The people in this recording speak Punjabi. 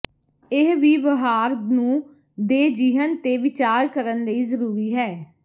ਇਹ ਵਿਵਹਾਰ ਨੂੰ ਦੇ ਿਜਹਨ ਤੇ ਵਿਚਾਰ ਕਰਨ ਲਈ ਜ਼ਰੂਰੀ ਹੈ